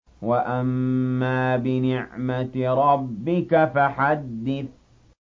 وَأَمَّا بِنِعْمَةِ رَبِّكَ فَحَدِّثْ